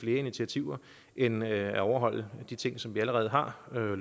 initiativer end at overholde de ting som vi allerede har lovet